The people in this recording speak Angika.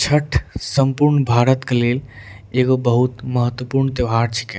छठ सम्पूर्ण भारत के लेल एगो बहुत महत्वपूर्ण त्योहार छकै।